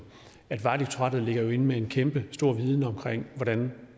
ligger inde med en kæmpestor viden omkring hvordan